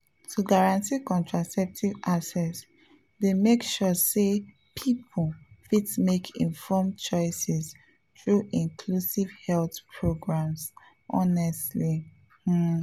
to guarantee contraceptive access dey make sure say people fit make informed choices through inclusive health programs honestly pause.